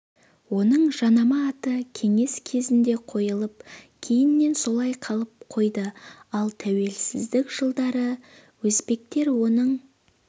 оның жанама аты кеңес кезінде қойылып кейіннен солай қалып қойды ал тәуелсіздік жылдары өзбектер оның